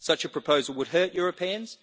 Such a proposal would hurt Europeans.